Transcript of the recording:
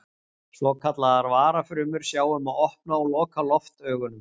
svokallaðar varafrumur sjá um að opna og loka loftaugunum